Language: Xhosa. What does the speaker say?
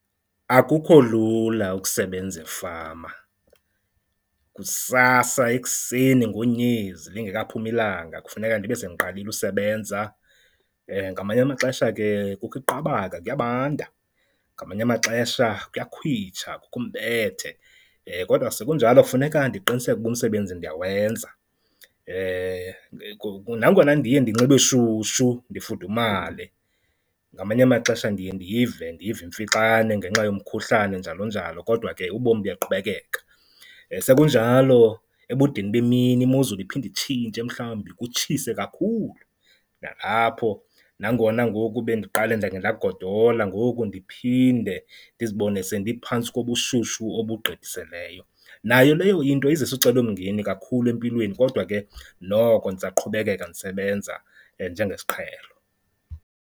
Akukho lula ukusebenza efama, kusasa ekuseni ngonyezi lingekaphumi ilanga kufuneka ndibe sendiqalile usebenza. Ngamanye amaxesha ke kukho iqabaka kuyabanda, ngamanye amaxesha kuyakhwitsha kukho umbethe, kodwa sekunjalo funeka ndiqiniseke uba umsebenzi ndiyawenza. Nangona ndiye ndinxibe shushu ndifudumale, ngamanye amaxesha ndiye ndive, ndive imfixane ngenxa yomkhuhlane njalonjalo kodwa ke ubomi buyaqhubekeka. Sekunjalo ebudeni bemini imozulu iphinde itshintshe mhlawumbi kutshise kakhulu, nalapho nangona ngoku bendiqale ndake ndagodola ngoku ndiphinde ndizibone sendiphantsi kobushushu obugqithiseleyo. Nayo leyo into izisa ucelomngeni kakhulu empilweni kodwa ke noko ndisaqhubekeka ndisebenza njengesiqhelo.